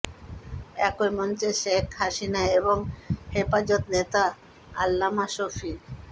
একই মঞ্চে শেখ হাসিনা এবং হেফাজত নেতা আল্লামা শফি